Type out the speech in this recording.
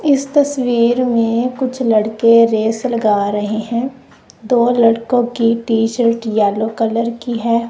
इस तस्वीर में कुछ लड़के रेस लगा रहे हैं दो लड़कों की टी शर्ट येलो कलर की है।